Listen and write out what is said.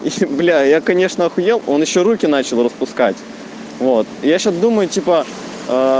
являя конечно хуйня он ещё руки начал распускать